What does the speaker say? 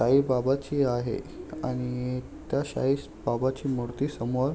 साईबाबाची आहे आणि त्या साईबाबाची मूर्ती समोर--